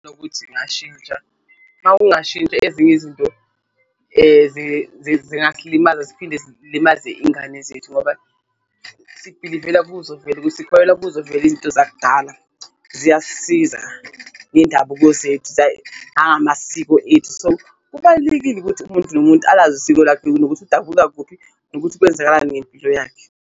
Nokuthi ngashintsha uma ungashintsha ezinye izinto zingasilimaza ziphinde zilimaze iy'ngane zethu ngoba sibhilivela kuzo vele ukuthi sikholelwa kuzovela izinto zakudala ziyasisiza ngendabuko zethu, nangamasiko ethu. So, kubalulekile ukuthi umuntu nomuntu alazi isiko lakhe nokuthi udabuka kuphi nokuthi kwenzakalani ngempilo yakhe.